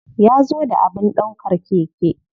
Ya zo da abin ɗaukar keke.